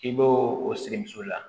K'i b'o o sirimuso la